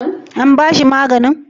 An bashi maganin?